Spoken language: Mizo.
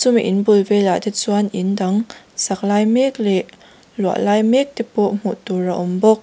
chumi in bul velah te chuan in dang sak lai mek leh luah lai mek te pawh hmuh tur a awm bawk.